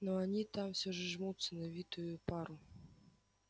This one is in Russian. но они там все жмутся на витую пару